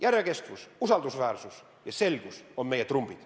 Järjekestvus, usaldusväärsus ja selgus on meie trumbid.